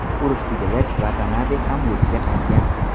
Urush tugagach, Vatanabe ham yurtiga qaytgan.